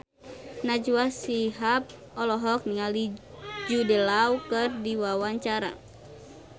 Najwa Shihab olohok ningali Jude Law keur diwawancara